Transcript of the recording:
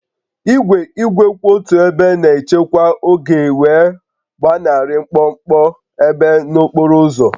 Igwe igwe kwụ otu ebe na-echekwa oge wee gbanarị mkpọmkpọ ebe n'okporo ụzọ